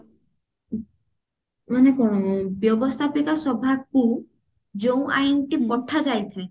ମାନେ କଣ ବ୍ୟବସ୍ତାପିକା ସଭାକୁ ଯୋଉ ଆଇନ ଟି ପଠା ଯାଇଥାଏ